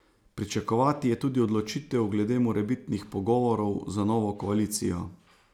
Pričakovati je tudi odločitev glede morebitnih pogovorov za novo koalicijo.